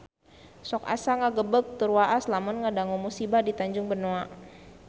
Sok asa ngagebeg tur waas lamun ngadangu musibah di Tanjung Benoa